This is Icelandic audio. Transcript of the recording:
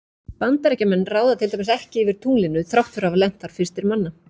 Bandaríkjamenn ráða til dæmis ekki yfir tunglinu þrátt fyrir að hafa lent þar fyrstir manna.